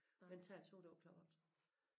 Men tager toget over klok 8